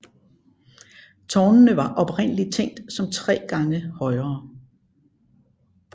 Tårnene var oprindeligt tænkt som tre gange højere